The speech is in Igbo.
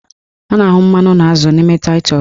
A na-ahụ mmanụ na azụ n'ime taịtọs